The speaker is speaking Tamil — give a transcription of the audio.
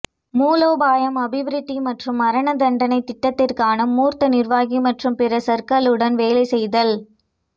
மூலோபாயம் அபிவிருத்தி மற்றும் மரணதண்டனைத் திட்டத்திற்கான மூத்த நிர்வாகி மற்றும் பிற சகர்களுடன் வேலை செய்தல்